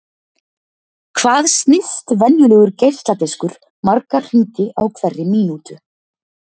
Hvað snýst venjulegur geisladiskur marga hringi á hverri mínútu?